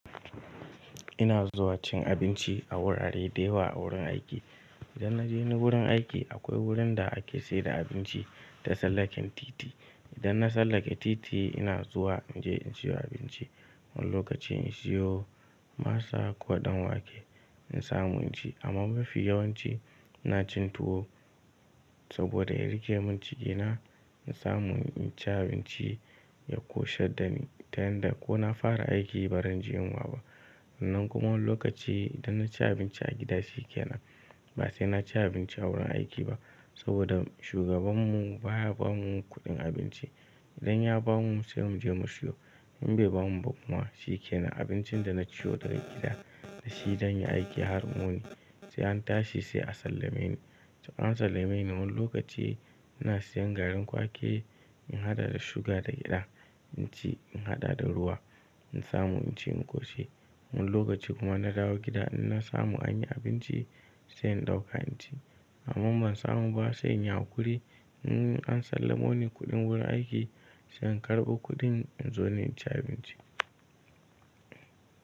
Ina zuwa cin abinci a wurare da yawa a wurin aiki. Idan na je ni wurin aiki akwai wurin da ake saida abinci ta sallaken titi. Idan na sallake titi ina zuwa in je in siyo abinci. Wani lokacin in siyo masa ko ɗan wake in samu in ci amma mafi yawanci ina cin tuwo saboda ya rike mun cikina in samu in ci abinci ya ƙoshe da ni tunda ko na fara aiki ba ran ji yinwa ba. Nan kuma wani lokaci idan na ci abinci a gida shi ke nan ba sai na ci abinci a wurin aiki ba saboda shugabanmu baya ba mu kuɗin abinci. Idan ya ba mu sai mu je mu siyo, in bai ba mu ba kuma shi ke nan abincin da na ciwo daga gida da shi zan yi aiki har mun yi sai an tashi sai a sallame ni. To an sallame ni wani lokaci ina siyan garin kwaki in haɗa da suga daga gida inci in haɗa da ruwa in samu in ci in ƙoshi. Wani lokaci kuma na dawo gida ina samu an yi abinci sai in ɗauka inci amma ban samu ba sai in yi haƙuri. In an sallamo ni kuɗin wurin aiki sai in karɓo kuɗin in zo ni in ci abinci.